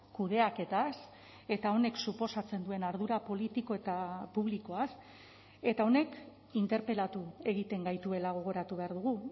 kudeaketaz eta honek suposatzen duen ardura politiko eta publikoaz eta honek interpelatu egiten gaituela gogoratu behar dugu